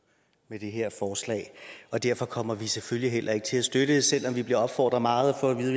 med det her forslag derfor kommer vi selvfølgelig heller ikke til at støtte det selv om vi bliver opfordret meget og får at vide